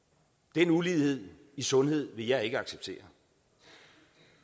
den ulighed i sundhed vil jeg ikke acceptere